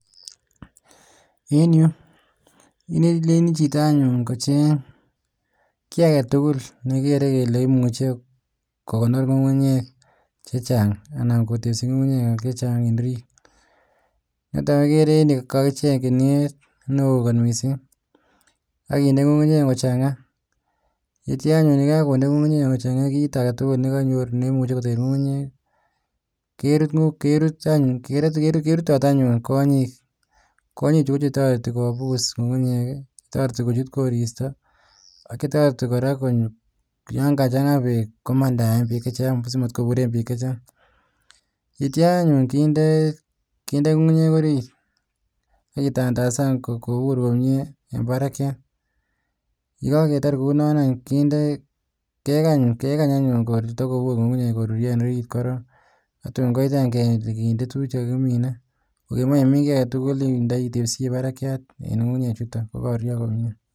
Eng yuuu alenjin chitoo kocheeng kii agetugul netos kekondoreee kukunyeeek kochangaaa imuchee icheeeng kunieet neindoiii ngungunyek chechaang akindeii ngungunyeeek chechang akikany koturyooo komnyeee akindeee minutik sikoeueyoo komnyeeee